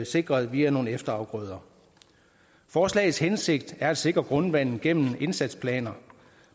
sikret via nogle efterafgrøder forslagets hensigt er at sikre grundvandet gennem indsatsplaner